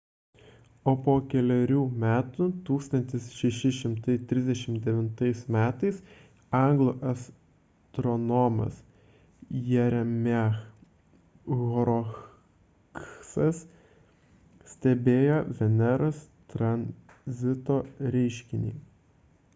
o po kelerių metų 1639 m anglų astronomas jeremiah horrocksas stebėjo veneros tranzito reiškinį